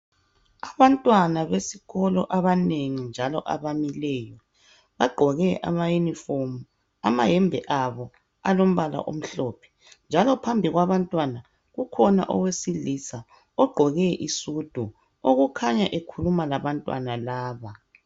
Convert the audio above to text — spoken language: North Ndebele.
Abantwana besikolo abanengi njalo abamileyo bagqoke ama uniform amayembe abo alombala omhlophe njalo phambi kwabantwana kukhona owesilisa ogqoke isudu okukhanya ekhuluma labantwana laba